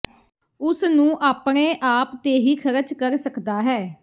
ਉਸ ਨੂੰ ਆਪਣੇ ਆਪ ਤੇ ਹੀ ਖਰਚ ਕਰ ਸਕਦਾ ਹੈ